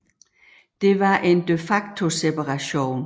Det var en de facto separation